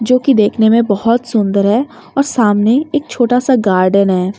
जो कि देखने में बहोत सुंदर है और सामने एक छोटा सा गार्डन है।